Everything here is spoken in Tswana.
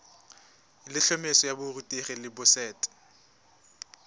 letlhomeso la borutegi la boset